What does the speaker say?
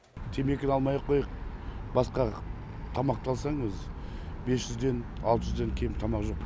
темекіні алмай ақ қояйық басқа тамақты алсаң өзі бес жүзден алты жүзден кем тамақ жоқ